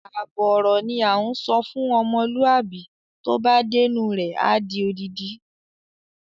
Àbọ̀ ọ̀rọ̀ ni à ń sọ fún ọmọlúàbí tó bá dénú rẹ̀ a di odidi.